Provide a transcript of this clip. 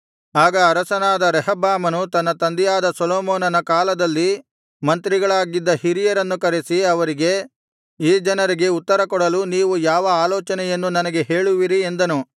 ಆಗ ಅರಸನಾದ ರೆಹಬ್ಬಾಮನು ತನ್ನ ತಂದೆಯಾದ ಸೊಲೊಮೋನನ ಕಾಲದಲ್ಲಿ ಮಂತ್ರಿಗಳಾಗಿದ್ದ ಹಿರಿಯರನ್ನು ಕರೆಸಿ ಅವರಿಗೆ ಈ ಜನರಿಗೆ ಉತ್ತರ ಕೊಡಲು ನೀವು ಯಾವ ಆಲೋಚನೆಯನ್ನು ನನಗೆ ಹೇಳುವಿರಿ ಎಂದನು